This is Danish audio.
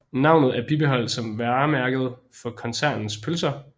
Navnet er bibeholdt som varemærke for koncernens pølser